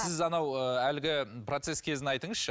сіз анау ы әлгі процесс кезін айтыңызшы